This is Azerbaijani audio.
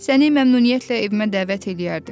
səni məmnuniyyətlə evimə dəvət eləyərdim.